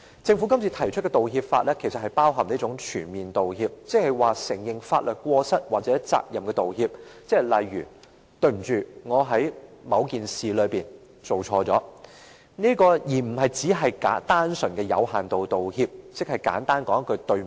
政府今次提出的《條例草案》，其實包含一種"全面道歉"的意思，意即承認法律過失或責任的道歉，例如："對不起，我在某件事中做錯了"，而不僅是單純而有限度道歉，即是簡單地說一句對不起。